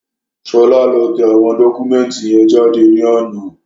Ṣọlá lọ tẹ àwọn dọ́kúmẹ̀ntì yẹn jáde ní àná